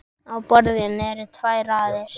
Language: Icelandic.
Á borðinu eru tvær raðir.